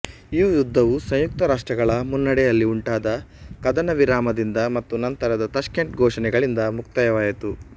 ಈ ಯುದ್ಧವು ಸಂಯುಕ್ತ ರಾಷ್ಟ್ರಗಳ ಮುನ್ನಡೆಯಲ್ಲಿ ಉಂಟಾದ ಕದನವಿರಾಮದಿಂದ ಮತ್ತು ನಂತರದ ತಾಷ್ಕೆಂಟ್ ಘೋಷಣೆಗಳಿಂದ ಮುಕ್ತಾಯವಾಯಿತು